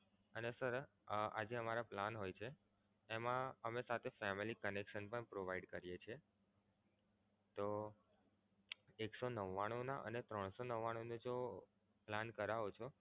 અને sir આ જે અમારા plan હોય છે તેમા અમે સાથે family connection પણ provide કરીએ છીએ. તો એક સો નવ્વાણુંના અને ત્રણ સો નવ્વાણુંના જો plan કરાવો છો